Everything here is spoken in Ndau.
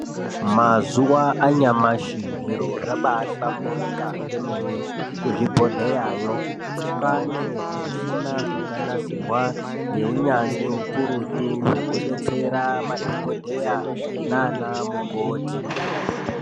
Mazuwa anyamashi zviro zvabahlamburika kwemene kuzvibhedhleyayo kwaane zvimishina zvakanasirwa ngeunyanzvi ukuru zvekudetsera madhokodheya naanamukoti.